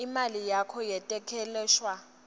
imali yakho yetekwelashwa